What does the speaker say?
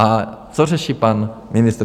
A co řeší pan ministr?